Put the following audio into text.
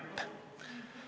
Aitäh, hea juhataja!